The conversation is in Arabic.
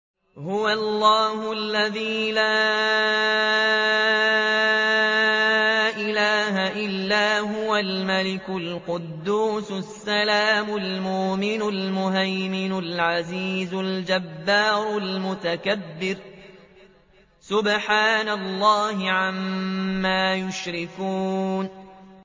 هُوَ اللَّهُ الَّذِي لَا إِلَٰهَ إِلَّا هُوَ الْمَلِكُ الْقُدُّوسُ السَّلَامُ الْمُؤْمِنُ الْمُهَيْمِنُ الْعَزِيزُ الْجَبَّارُ الْمُتَكَبِّرُ ۚ سُبْحَانَ اللَّهِ عَمَّا يُشْرِكُونَ